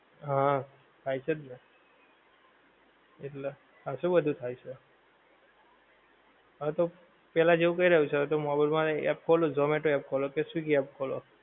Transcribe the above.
હા થાય છે જ ને. એટલે ખાસું બધુ થાય છે. હં તો પેલ્લા જેવુ ક્યાં રહ્યું છે. હવે તો મોબાઈલ માં એ app ખોલો, ઝોમેટો ની app ખોલો કે સ્વીગી app ખોલો.